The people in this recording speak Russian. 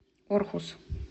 орхус